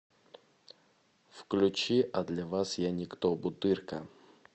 включи а для вас я никто бутырка